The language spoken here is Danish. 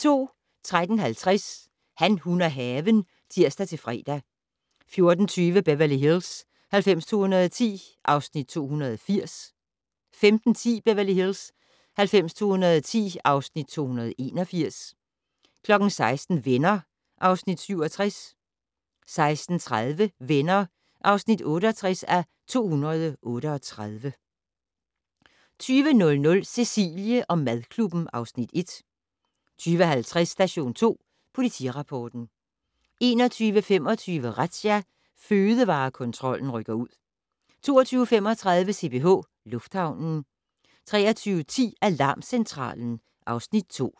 13:50: Han, hun og haven (tir-fre) 14:20: Beverly Hills 90210 (Afs. 280) 15:10: Beverly Hills 90210 (Afs. 281) 16:00: Venner (Afs. 67) 16:30: Venner (68:238) 20:00: Cecilie & madklubben (Afs. 1) 20:50: Station 2 Politirapporten 21:25: Razzia - Fødevarekontrollen rykker ud 22:35: CPH Lufthavnen 23:10: Alarmcentralen (Afs. 2)